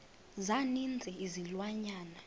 za ninzi izilwanyana